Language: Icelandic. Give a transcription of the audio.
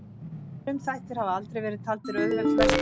Frumþættir hafa aldrei verið taldir auðveld lesning.